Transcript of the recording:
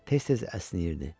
Tez-tez əsnəyirdi.